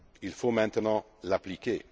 Il faut maintenant l'appliquer.